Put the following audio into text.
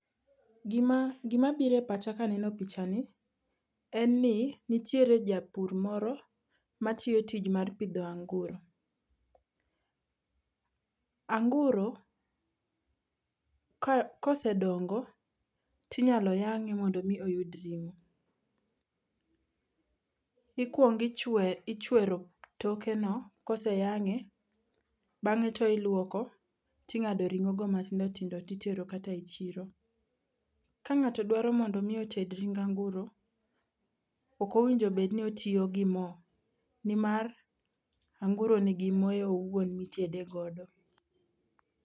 Gima gima biro e pacha kaneno pichani, en ni nitiere japur moro matiyo tich mar pidho anguro. Anguro ka osedongo to inyalo yang'e mondo mi oyud ring'o. Ikuongo ichwer ichwero tokeno kose yang'e. Bang'e to iluoko, ting'ado ring'ogo matindo tindo to itero kata e chiro. Ka ng'ato dwaro mondo mi oted kata ring anguro, ok owinjo bed ni ótiyo gi mo nimar anguro nigi more owuon mitede godo.